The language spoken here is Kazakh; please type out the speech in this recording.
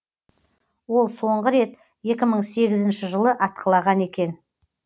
ол соңғы рет екі мың сегізінші жылы атқылаған екен